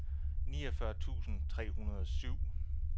niogfyrre tusind tre hundrede og syv